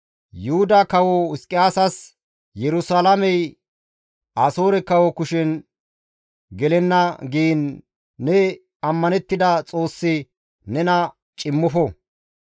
«Yuhuda Kawo Hizqiyaasas, ‹Yerusalaamey Asoore kawo kushen gelenna› giin ne ammanettida Xoossi nena cimmofo.